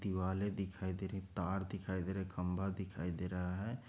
दीवाले दिखाई दे रही हैं तार दिखाई दे रहे हैं खंभा दिखाई दे रहें हैं।